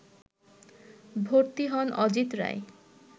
ভর্তি হন অজিত রায়